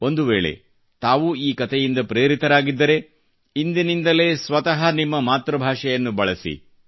ಒಂದು ವೇಳೆ ತಾವೂ ಈ ಕತೆಯಿಂದ ಪ್ರೇರಿತರಾಗಿದ್ದರೆ ಇಂದಿನಿಂದಲೇ ಸ್ವತ ನಿಮ್ಮ ಮಾತೃಭಾಷೆಯನ್ನು ಬಳಸಿರಿ